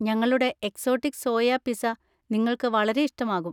ഞങ്ങളുടെ exotic soya pizza നിങ്ങൾക്ക് വളരെ ഇഷ്ടമാകും.